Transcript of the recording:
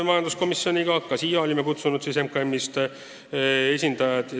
Jälle olime kohale kutsunud MKM-ist esindaja.